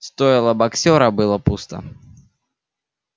стойло боксёра было пусто